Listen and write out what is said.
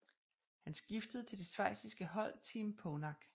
Han skiftede til det schweiziske hold Team Phonak